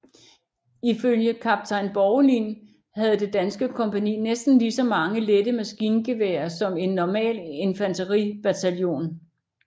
Ifølge kaptajn Borgelin havde det danske kompagni næsten lige så mange lette maskingevær som en normal infanteribataljon